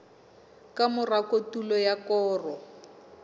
ka mora kotulo ya koro